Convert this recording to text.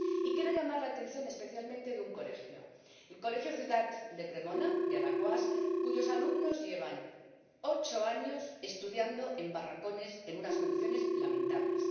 Y quiero llamar la atención especialmente sobre un colegio el colegio Ciutat de Cremona, de Alaquàs, cuyos alumnos llevan ocho años estudiando en barracones, en unas condiciones lamentables.